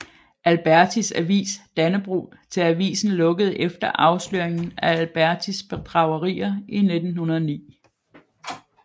Albertis avis Dannebrog til avisen lukkede efter afsløringen af Albertis bedragerier i 1909